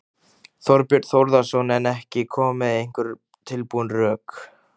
Þorbjörn Þórðarson: En ekki koma með einhver tilbúin rök?